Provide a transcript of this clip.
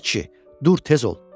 Ay kişi, dur tez ol!